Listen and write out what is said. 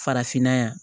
Farafinna yan